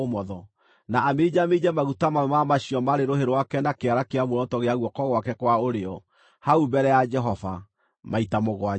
na aminjaminje maguta mamwe ma macio marĩ rũhĩ rwake na kĩara kĩa muoroto gĩa guoko gwake kwa ũrĩo, hau mbere ya Jehova, maita mũgwanja.